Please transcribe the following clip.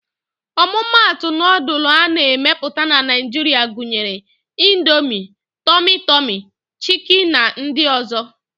Ọmụmatụ nudul a na-emepụta na Naịjiria gunyere: Indomie, tọmị tọmị, chiki na ndị ọ̀zọ́.